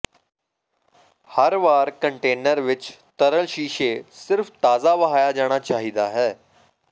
ਹਰ ਵਾਰ ਕੰਟੇਨਰ ਵਿੱਚ ਤਰਲ ਸ਼ੀਸ਼ੇ ਸਿਰਫ ਤਾਜ਼ਾ ਵਹਾਇਆ ਜਾਣਾ ਚਾਹੀਦਾ ਹੈ